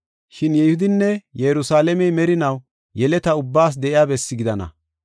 Shin Yihudinne Yerusalaamey merinaw, yeleta ubbaas de7iya bessi gidana.